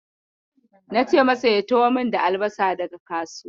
Na ce masa ya taho min da albasa daga kasuwa.